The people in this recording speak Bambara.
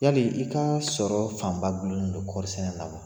Yali i ka sɔrɔ fanba gulolen do kɔɔrisɛnɛ na wa?